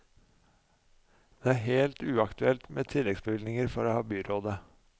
Men det er helt uaktuelt med tilleggsbevilgninger fra byrådet.